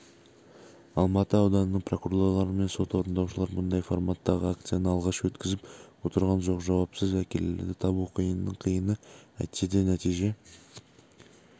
алматы ауданының прокурорлары мен сот орындаушылар мұндай форматтағы акцияны алғаш өткізіп отырған жоқ жауапсыз әкелерді табу қиынның қиыны әйтсе де нәтиже